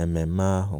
ememe ahụ